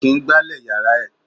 Kò kín gbálè yàrá ẹ̀.